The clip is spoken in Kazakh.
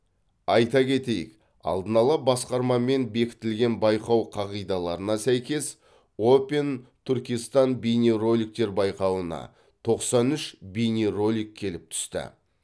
айта кетейік алдын ала басқармамен бекітілген байқау қағидаларына сәйкес опен түркистан бейнероликтер байқауына тоқсан үш бейнеролик келіп түсті